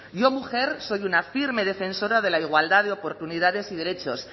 yo mujer soy una firme defensora de la igualdad de oportunidades y derechos